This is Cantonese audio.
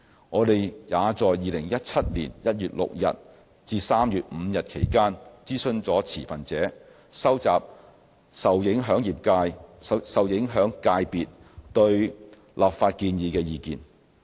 我們也在2017年1月6日至3月5日期間諮詢了持份者，收集受影響界別對立法建議的意見。